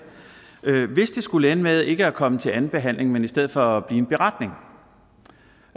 hvis det skulle ende med ikke at komme til anden behandling men i stedet for at en beretning